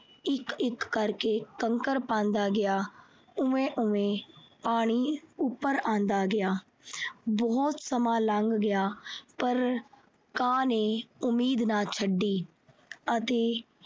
ਅਤੇ ਇੱਕ-ਇੱਕ ਕਰਕੇ ਕੰਕਰ ਪਾਉਂਦਾ ਗਿਆ, ਉਵੇਂ ਉਵੇਂ ਪਾਣੀ ਉਪਰ ਆਉਂਦਾ ਗਿਆ। ਬਹੁਤ ਸਮਾਂ ਲੰਘ ਗਿਆ ਪਰ ਕਾਂ ਨੇ ਉਮੀਦ ਨਾ ਛੱਡੀ।